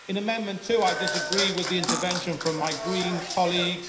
In Amendment 2, I disagree with the intervention from my Green colleague.